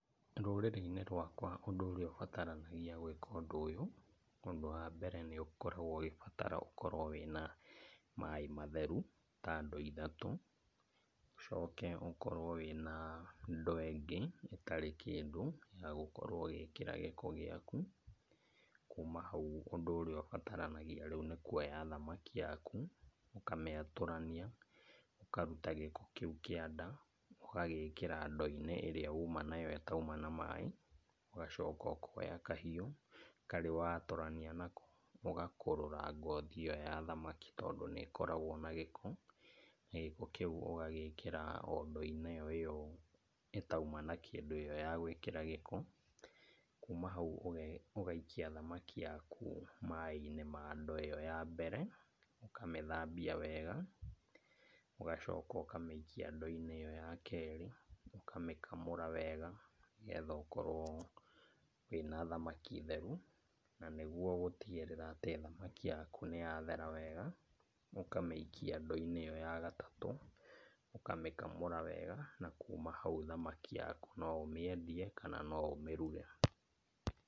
Rũrĩrĩ-inĩ rwakwa ũndũ ũrĩa ũbataranagia gwĩka ũndũ ũyũ, ũndũ wa mbere nĩ ũkoragwo ũgĩbatara ũkorwo wĩna maĩ matheru ta ndoo ithatũ. Ũcoke ũkorwo wĩna ndoo ĩngĩ ĩtarĩ kĩndũ ya gũkorwo ũgĩkĩra gĩko gĩaku. Kuma hau ũndũ ũrĩa ũbataranagia rĩu nĩ kuoya thamaki yaku ũkamĩatũrania, ũkaruta gĩko kĩu kĩa nda, ũkagĩkĩra ndoo-inĩ ĩrĩa uma nayo ĩtauma na maĩ. Ũgacoka ũkoya kahiũ karĩa watũrania nako, ũgakũrũra ngothi ĩyo ya thamaki tondũ nĩkoragwo na gĩko, na gĩko kĩu ũgagĩkĩra o ndoo-inĩ ĩyo ĩtauma na kĩndũ ĩyo ya gwĩkĩra gĩko. Kuma hau ũgaikia thamaki yaku maĩ-inĩ ma ndoo ĩyo ya mbere, ũkamĩthambia wega, ũgacoka ũkamĩikia ndoo-inĩ ĩyo ya kerĩ, ũkamĩkamũra wega nĩgetha ũkorwo wĩna thamaki theru, na nĩguo gũtigĩrĩra atĩ thamaki yaku nĩ yathera wega, ũkamĩikia ndoo-inĩ ĩyo ya gatatũ ũkamĩkamũra wega na kuma hau thamaki yaku no ũmĩendie kana no ũmĩruge